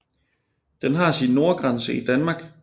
Den har sin nordgrænse i Danmark